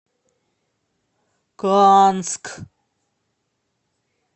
канск